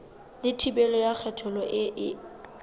le thibelo ya kgethollo e